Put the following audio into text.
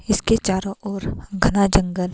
इसके चारों ओर घना जंगल--